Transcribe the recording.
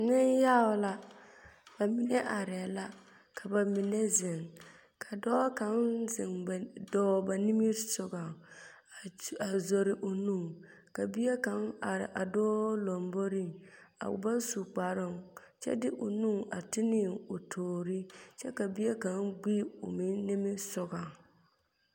Neŋyaga la. Ba mine arɛɛ la ka ba mine zeŋ. Ka dɔɔ kaŋ zeŋ ba ba nimmisogɔŋ, a zori o nu. Bie kaŋ are a dɔɔ lomboriŋ, o ba su kparoo, kyɛ de o nu a ti ne o toorii, kyɛ ka bie kaŋa gbi o nimmisogɔŋ.